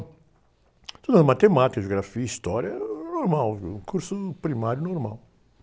Estudava matemática, geografia, história, uh, era normal, um curso primário normal.